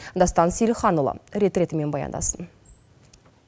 дастан сейілханұлы рет ретімен баяндасын